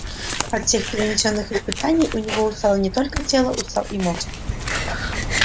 от всех перенесённых испытаний у него устало не только тело устал и мозг